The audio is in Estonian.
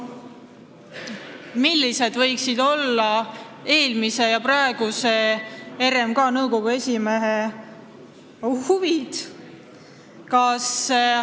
Millised võiksid olla eelmise ja praeguse RMK nõukogu esimehe huvid?